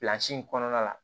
in kɔnɔna la